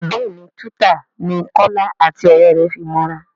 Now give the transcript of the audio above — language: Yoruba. béèni Twitter ní Kola àti òré rẹ fí mọ ra.